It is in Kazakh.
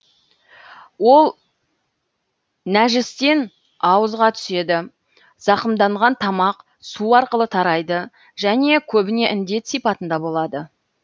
ол нәжістен ауызға түседі зақымданған тамақ су арқылы тарайды және көбіне індет сипатында болады